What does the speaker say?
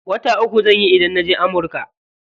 Wata uku zanyi idan naje amurka.